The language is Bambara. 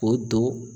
O don